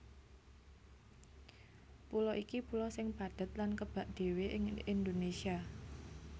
Pulo iki pulo sing padhet lan kebak dhéwé ing Indonésia